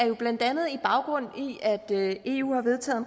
jo blandt andet baggrund i at eu